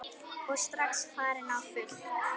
Og strax farin á fullt.